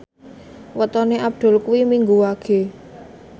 wetone Abdul kuwi Minggu Wage